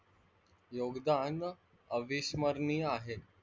योगदान अविस्मरणीय आहे.